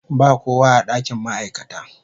Ba kowa a dakin ma'aikata.